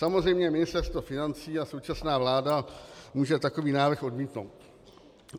Samozřejmě Ministerstvo financí a současná vláda může takový návrh odmítnout.